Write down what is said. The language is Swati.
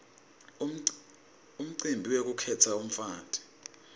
umcibi wekukhetsa umfati